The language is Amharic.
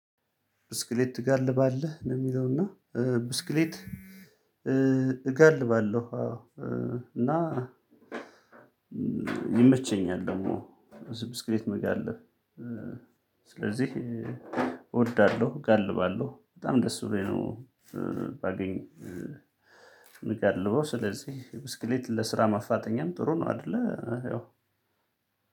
ብስክሌት ትጋልባለህ ነው እሚለው እና? ብስክሌት እጋልባለሁ። አዎ እና ይመቸኛል። ደግሞ ብስክሌት መጋለብ ስለዚህ እወዳለሁ እጋልባለሁ በጣም ደስ ብሎኝ ነው። ባገኝ እምጋልበው ስለዚህ ብስክሌት ለስራ ማፋጠኛም ጥሩ ነው አይደለ።